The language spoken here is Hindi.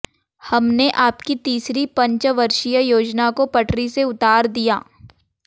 हमने आपकी तीसरी पंचवर्षीय योजना को पटरी से उतार दिया